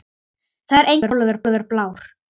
Það er enginn málaður blár.